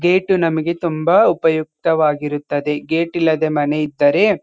gate ನಮಗೆ ತುಂಬಾ ಉಪಯುಕ್ತವಾಗಿರುತ್ತದೆ ಗೇಟ್ ಇಲ್ಲದೆ ಮನೆ ಇದ್ದರೆ --